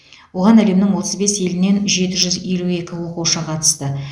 оған әлемнің отыз бес елінен жеті жүз елу екі оқушы қатысты